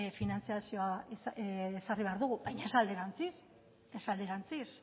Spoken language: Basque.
finantzazioa ezarri behar dugu baina ez alderantziz